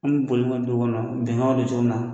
Hali ni bolili maɲin du kɔnɔ, bɛnkan bɛ kɛ cogo min na.